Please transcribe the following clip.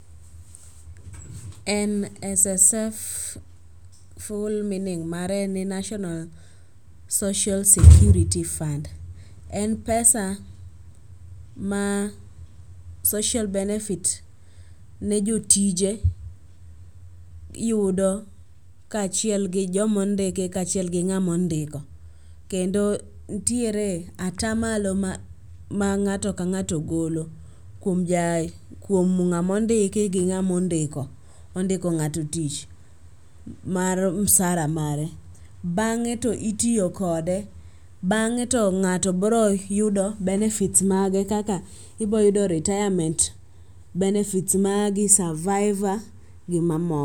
NSSF ful meaning mare en national social security fund. En pesa ma social benefits ne jotije yudo kaachiel gi jomondiki kaachiel gi ng'amondiko kendo ntiere atamalo ma ng'ato ka ng'ato golo kuom ng'amondiki gi ng'amondiko ondiko ng'ato tich mar msara mare. Bang'e to itiyo kode, bang'e to ng'ato broyudo benefits mage kaka iboyudo retirement benefits magi, surviver gi mamoko.